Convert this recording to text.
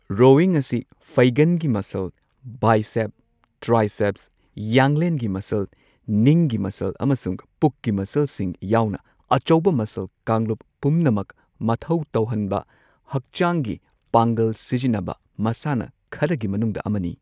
Rowing ꯑꯁꯤ ꯐꯩꯒꯟꯒꯤ ꯃꯁꯜ, ꯕꯥꯏꯁꯦꯞ꯭ꯁ, ꯇ꯭ꯔꯥꯏꯁꯦꯞ꯭ꯁ, ꯌꯥꯡꯂꯦꯟꯒꯤ ꯃꯁꯜ, ꯅꯤꯡꯒꯤ ꯃꯁꯜ ꯑꯃꯁꯨꯡ ꯄꯨꯛꯀꯤ ꯃꯁꯜꯁꯤꯡ ꯌꯥꯎꯅ ꯑꯆꯧꯕ ꯃꯁꯜ ꯀꯥꯡꯂꯨꯞ ꯄꯨꯝꯅꯃꯛ ꯃꯊꯧ ꯇꯧꯍꯟꯕ ꯍꯛꯆꯥꯡꯒꯤ ꯄꯥꯡ꯭ꯒꯜ ꯁꯤꯖꯤꯟꯅꯕ ꯃꯁꯥꯟꯅꯥ ꯈꯔꯒꯤ ꯃꯅꯨꯡꯗ ꯑꯃꯅꯤ꯫